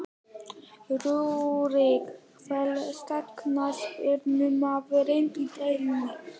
Rúrik Fallegasti knattspyrnumaðurinn í deildinni?